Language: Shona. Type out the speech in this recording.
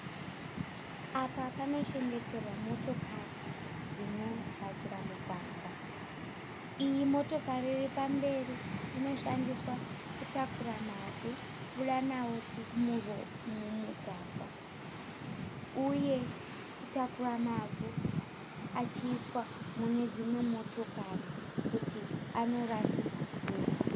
Apa panochengeterwa motokari dzinogadzira mugwagwa, iyi motokari iri pamberi inoshandiswa kutakura mavhu kubuda nawo mumugwagwa uye kutakura mavhu achiiswa mune dzimwe motokari kuti anorasirwa kure.